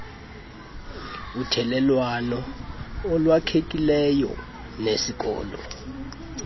uthelelwano olwakhekileyo nesikolo